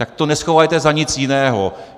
Tak to neschovávejte za nic jiného.